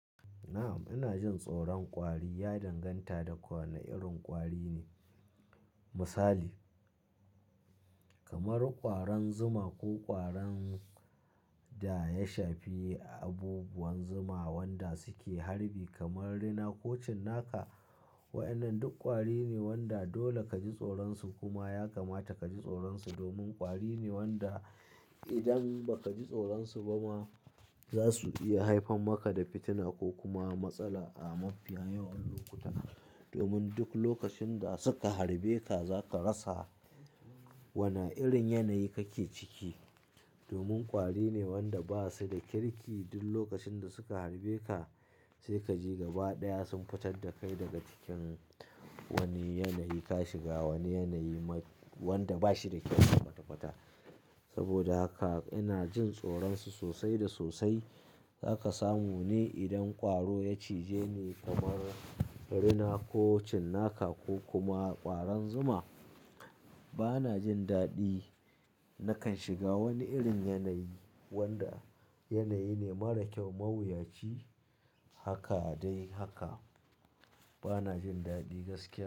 Na'am, ina jin tsoron ƙwari ya danganta da wani irin ƙwari ne. Misali, kamar ƙwaron zuma ko ƙwaron da ya shafi abubuwan zuma wanda suke harbi kamar rina ko cinnaka. Wa'yanan duk ƙwari ne wanda dole ka ji tsoron su kuma ya kamata ka ji tsoron su domin ƙwari ne wanda idan ba ka ji tsoron su ba ma, za su iya haifar maka da fitina ko kuma matsala a mafiya yawan lokuta. Domin duk lokacin da suka harbe ka, za ka rasa wana irin yanayi kake ciki. Domin ƙwari ne wanda ba su da kirki, duk lokacin da suka harbe ka sai ka je gaba ɗaya sun fitar da kai daga cikin wane yanayi ka shiga, wane yanayi wanda ba shi da kyau ma kwatakwata. Saboda haka ina jin tsoron su sosai da sosai. Za ka samu ne idan ƙwaro ya cije ni kamar rina ko cinnaka ko kuma ƙwaron zuma. Ba na jin daɗi, nakan shiga wani irin yanayi wanda yanayi ne mara kyau, mawuyaci. Haka dai haka, ba na jin daɗi gaskiya.